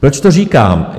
Proč to říkám?